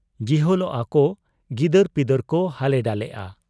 ᱡᱤᱦᱚᱞᱚᱜ ᱟ ᱠᱚ ᱾ ᱜᱤᱫᱟᱹᱨᱯᱤᱫᱟᱹᱨ ᱠᱚ ᱦᱟᱞᱮ ᱰᱟᱞᱮᱜ ᱟ ᱾